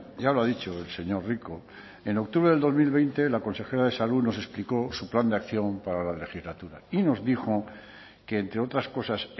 ya lo ha dicho el señor rico en octubre del dos mil veinte la consejera de salud nos explicó su plan de acción para la legislatura y nos dijo que entre otras cosas